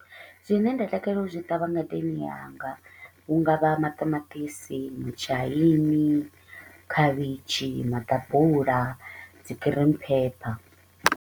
Zwine nda takalela u zwi ṱavha ngadeni yanga hu nga vha maṱamaṱisi, mutshaini, khavhishi, maḓabula, dzi green pepper.